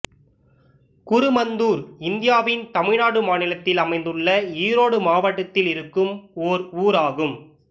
குருமந்தூர் இந்தியாவின் தமிழ்நாடு மாநிலத்தில் அமைந்துள்ள ஈரோடு மாவட்டத்தில் இருக்கும் ஒரு ஊர் ஆகும்